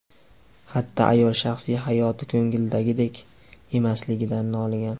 Xatda ayol shaxsiy hayoti ko‘ngildagidek emasligidan noligan.